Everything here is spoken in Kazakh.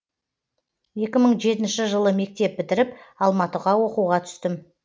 екі мың жетінші жылы мектеп бітіріп алматыға оқуға түстім